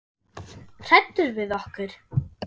Hræddur við okkur?